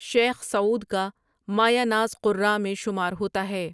شیخ Saud کا مایۂ ناز قراء میں شمار ہوتا ہے ۔